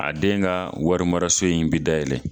A den ka wari mara so in be dayɛlɛ.